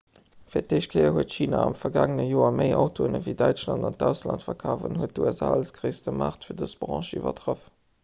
fir d'éischt kéier huet china am vergaangene joer méi autoen ewéi däitschland an d'ausland verkaaft an huet d'usa als gréisste maart fir dës branch iwwertraff